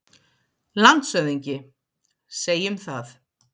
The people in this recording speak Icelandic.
LANDSHÖFÐINGI: Segjum það.